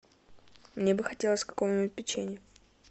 мне бы хотелось какого нибудь печенья